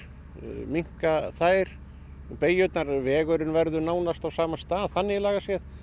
minnka þær og beygjurnar en vegurinn verður nánast á sama stað þannig lagað